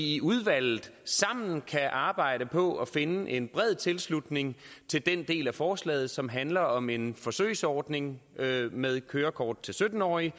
i udvalget sammen kan arbejde på at finde en bred tilslutning til den del af forslaget som handler om en forsøgsordning med kørekort til sytten årige